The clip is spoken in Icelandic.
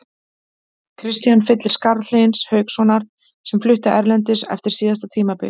Kristian fyllir skarð Hlyns Haukssonar sem flutti erlendis eftir síðasta tímabil.